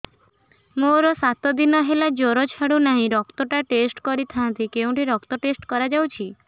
ମୋରୋ ସାତ ଦିନ ହେଲା ଜ୍ଵର ଛାଡୁନାହିଁ ରକ୍ତ ଟା ଟେଷ୍ଟ କରିଥାନ୍ତି କେଉଁଠି ରକ୍ତ ଟେଷ୍ଟ କରା ଯାଉଛି